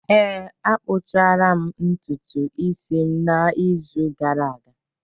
ee, akpụchara m ntutu isi m n’izu gara aga